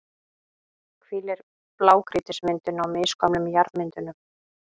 hvílir blágrýtismyndunin á misgömlum jarðmyndunum.